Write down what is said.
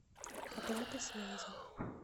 оплата связи